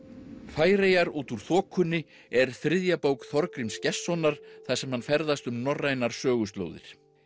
Færeyjar út úr þokunni er þriðja bók Þorgríms Gestssonar þar sem hann ferðast um norrænar söguslóðir